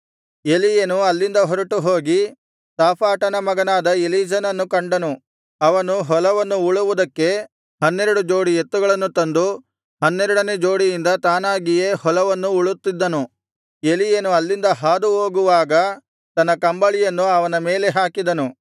ಎಲೀಯನು ಅಲ್ಲಿಂದ ಹೊರಟುಹೋಗಿ ಶಾಫಾಟನ ಮಗನಾದ ಎಲೀಷನನ್ನು ಕಂಡನು ಅವನು ಹೊಲವನ್ನು ಉಳುವುದಕ್ಕೆ ಹನ್ನೆರಡು ಜೋಡಿ ಎತ್ತುಗಳನ್ನು ತಂದು ಹನ್ನೆರಡನೆ ಜೋಡಿಯಿಂದ ತಾನಾಗಿಯೇ ಹೊಲವನ್ನು ಉಳುತ್ತಿದ್ದನು ಎಲೀಯನು ಅಲ್ಲಿಂದ ಹಾದುಹೋಗುವಾಗ ತನ್ನ ಕಂಬಳಿಯನ್ನು ಅವನ ಮೇಲೆ ಹಾಕಿದನು